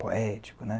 Poético, né?